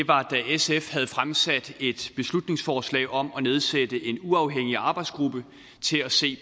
sf havde fremsat et beslutningsforslag om at nedsætte en uafhængig arbejdsgruppe til at se